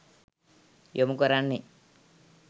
යොමු කරන්නේ.